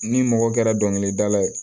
Ni mɔgɔ kɛra dɔnkilidala ye